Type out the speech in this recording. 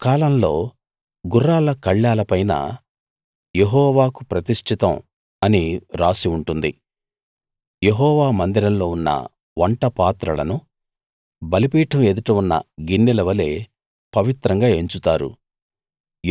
ఆ కాలంలో గుర్రాల కళ్ళాల పైన యెహోవాకు ప్రతిష్టితం అని రాసి ఉంటుంది యెహోవా మందిరంలో ఉన్న వంటపాత్రలను బలిపీఠం ఎదుట ఉన్న గిన్నెల వలె పవిత్రంగా ఎంచుతారు